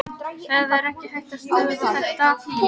Það er ekki hægt að stöðva þetta.